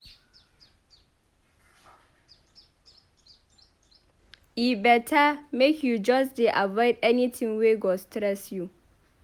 E beta make you just dey avoid anytin wey go stress you.